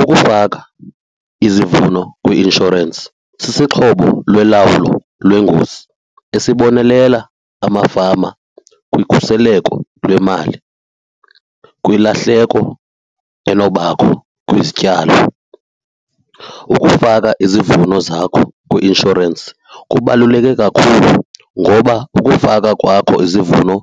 Ukufaka izivuno kwi-inshorensi sisixhobo lolawulo lwengozi esibonelela amafama kukhuseleko lwemali kwilahleko enokubakho kwizityalo. Ukufaka izivuno zakho kwi-inshorensi kubaluleke kakhulu ngoba ukufaka kwakho izivuno